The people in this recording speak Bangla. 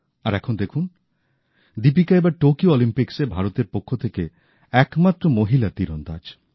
আর এখন দেখুন দীপিকা এবার টোকিও অলিম্পিক্সে ভারতের পক্ষ থেকে একমাত্র মহিলা তীরন্দাজ